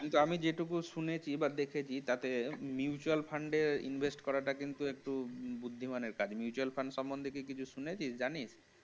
কিন্তু আমি যেটুকু শুনেছি বা দেখেছি তাতে mutual fund এ invest করাটা কিন্তু একটু বুদ্ধিমানের কাজ mutual fund সম্বন্ধে কিছু শুনেছিস জানিস্?